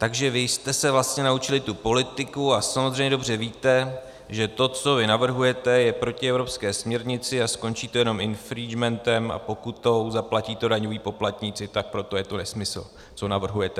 "Takže vy jste se vlastně naučili tu politiku a samozřejmě dobře víte, že to, co vy navrhujete, je proti evropské směrnici a skončí to jenom infringementem a pokutou, zaplatí to daňoví poplatníci, tak proto je to nesmysl, co navrhujete."